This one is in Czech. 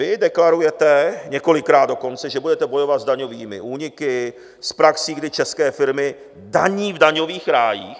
Vy deklarujete, několikrát dokonce, že budete bojovat s daňovými úniky, s praxí, kdy české firmy daní v daňových rájích.